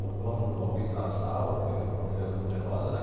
Ou quando alguém casava, porque a família era numerosa, né?